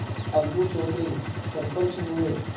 अलगू चौधरी सरपंच हुए